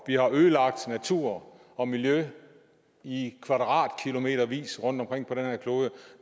vi har ødelagt natur og miljø i kvadratkilometervis rundtomkring på den her klode